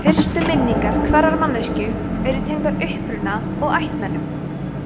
fyrstu minningar hverrar manneskju eru tengdar uppruna og ættmennum